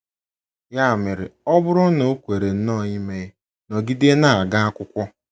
Ya mere, ọ bụrụ na o kwere nnọọ ime, nọgide na - aga akwụkwọ.